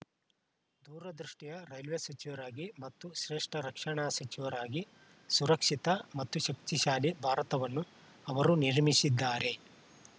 ದೂರದೃಷ್ಟಿಯ railway ಸಚಿವರಾಗಿ ಮತ್ತು ಶ್ರೇಷ್ಠ ರಕ್ಷಣಾ ಸಚಿವರಾಗಿ ಸುರಕ್ಷಿತ ಮತ್ತು ಶಕ್ತಿಶಾಲಿ ಭಾರತವನ್ನು ಅವರು ನಿರ್ಮಿಸಿದ್ದಾರೆ